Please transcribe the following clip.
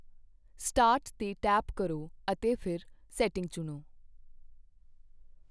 start 'ਤੇ tap ਕਰੋ ਅਤੇ ਫਿਰ ਸੈਟਿੰਗ ਚੁਣੋ